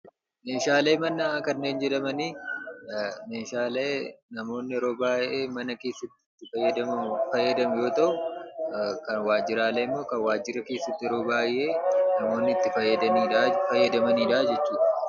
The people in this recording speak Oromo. Meeshaalee manaa kanneen jedhamani meeshaalee namoonni yeroo baay'ee mana keessatti itti fayyadamu yoo ta'u, waajjiraalee immoo kan waajjirri tokko keessatti yeroo baay'ee namoonni itti fayyadamanidha jechuudha.